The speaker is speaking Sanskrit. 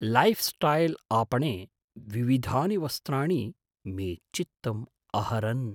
लैफ्स्टैल् आपणे विविधानि वस्त्राणि मे चित्तम् अहरन्।